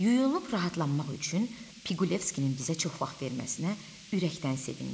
Yunulub rahatlanmaq üçün Piqulevskinin bizə çox vaxt verməsinə ürəkdən sevindik.